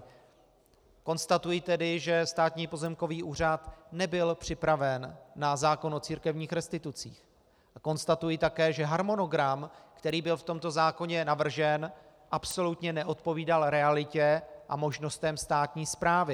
Konstatuji tedy, že Státní pozemkový úřad nebyl připraven na zákon o církevních restitucích, a konstatuji také, že harmonogram, který byl v tomto zákoně navržen, absolutně neodpovídal realitě a možnostem státní správy.